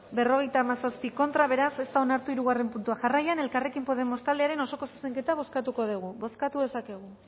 cincuenta y siete contra beraz ez da onartu hirugarren puntua jarraian elkarrekin podemos taldearen osoko zuzenketa bozkatuko dugu bozkatu dezakegu